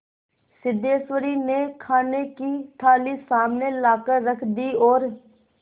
सिद्धेश्वरी ने खाने की थाली सामने लाकर रख दी और